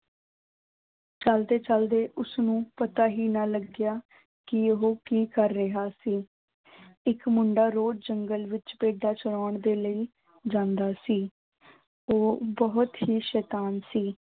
ਚੱਲਦੇ ਚੱਲਦੇ ਉਸਨੂੰ ਪਤਾ ਹੀ ਨਾ ਲੱਗਿਆ ਕਿ ਉਹ ਕੀ ਕਰ ਰਿਹਾ ਸੀ ਇੱਕ ਮੁੰਡਾ ਰੋਜ਼ ਜੰਗਲ ਵਿੱਚ ਭੇਡਾਂ ਚਰਾਉਣ ਦੇ ਲਈ ਜਾਂਦਾ ਸੀ ਉਹ ਬਹੁਤ ਹੀ ਸੈਤਾਨ ਸੀ।